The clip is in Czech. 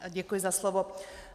Děkuji za slovo.